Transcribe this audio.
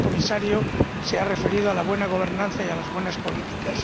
el señor Comisario se ha referido a la buena gobernanza y a las buenas políticas.